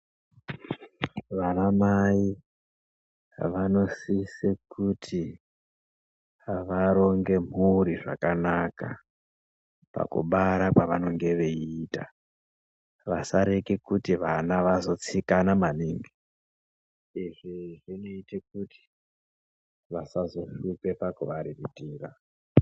Vanamai vanosise kuti varonge mhuri zvakanaka pakubara kwavanenge veiita vasareke kuti vana vazotsikana maningi. Izvi zvinoite kuti vasazohlupa pakuvariritira.